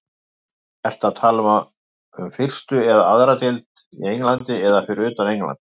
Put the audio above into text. Ertu að tala um fyrstu eða aðra deild í Englandi eða fyrir utan England?